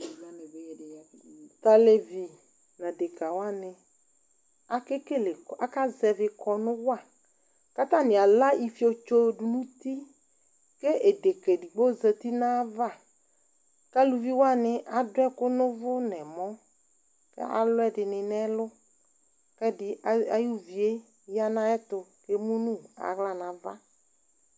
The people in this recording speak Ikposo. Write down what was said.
Tʋ alevi nʋ adekǝ wanɩ, akekele, akazɛvɩ kɔnʋ wa kʋ atanɩ ala ifietso dʋ nʋ uti kʋ edekǝ edigbo zati nʋ ayava kʋ aluvi wanɩ adʋ ɛkʋ nʋ ʋvʋ nʋ ɛmɔ kʋ alʋ ɛdɩnɩ nʋ ɛlʋ kʋ ɛdɩ az ayʋvi yɛ ya nʋ ayɛtʋ kʋ emu nʋ aɣla nʋ ava